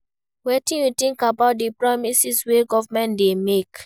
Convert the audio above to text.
Wetin you think about di promises wey government dey make?